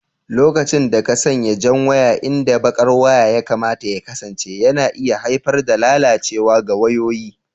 lokacin da ka sanya jan waya inda baƙar waya ya kamata ya kasance yana iya haifar da lalacewa ga wayoyi.